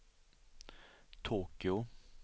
Tokyo